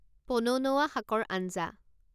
পনৌনৌৱা শাকৰ আঞ্জা